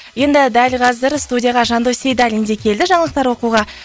енді дәл қазір студияға жандос сейдалин де келді жаңалықтар оқуға